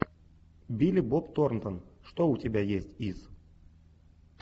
билли боб торнтон что у тебя есть из